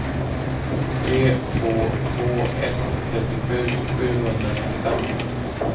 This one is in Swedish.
tre två två ett trettiosju sjuhundranittiofem